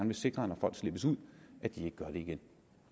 vil sikre når folk slippes ud at de ikke gør det igen